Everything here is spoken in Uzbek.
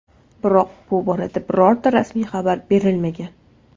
Biroq bu borada birorta rasmiy xabar berilmagan.